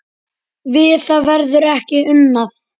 Við það verður ekki unað.